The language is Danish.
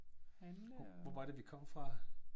Hvor var det vi kom fra?